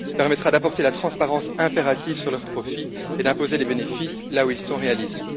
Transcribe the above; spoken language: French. Il permettra d'apporter la transparence impérative sur leurs profits et d'imposer les bénéfices là où ils sont réalisés.